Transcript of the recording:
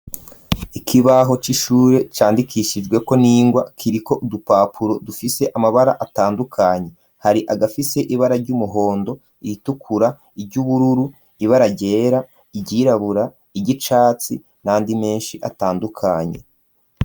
Ikibaho c'ishure candikishijwe ko n'ingwa kiri ko udupapuro dufise amabara atandukanye hari agafise ibara ry'umuhondo, iritukura ,iryubururu, ibara ryera, iryirabura, iryicatsi nandi menshi atandukanye.